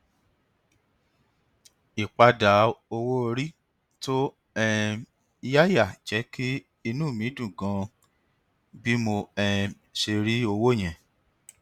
ìpadà owó orí tó um yáyà jẹ kí inú mi dùn ganan bí mo um ṣe rí owó yẹn